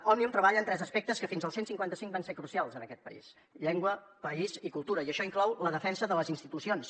òmnium treballa en tres aspectes que fins al cent i cinquanta cinc van ser crucials en aquest país llengua país i cultura i això inclou la defensa de les institucions